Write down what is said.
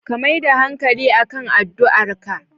Ka mai da hanƙali akan addu'arka